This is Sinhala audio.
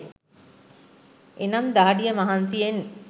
එනම් දහඩිය මහන්සියෙන්